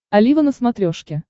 олива на смотрешке